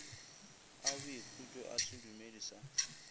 a boikhutšo a sedumedi sa